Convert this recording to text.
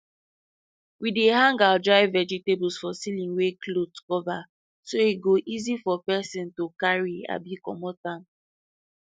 we dey hang our dry vegetables for ceiling wey cloth cover so e go easy for person to carry abi commot am